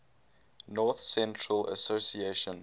north central association